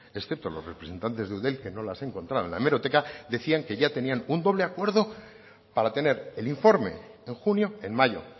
excepto los representantes de eudel que no las he encontrado en la hemeroteca decían que ya tenían un doble acuerdo para tener el informe en junio en mayo